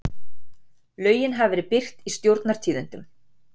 Lögin hafa verið birt í Stjórnartíðindum